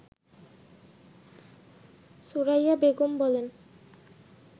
সুরাইয়া বেগম বলেন